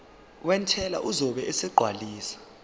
wentela uzobe esegcwalisa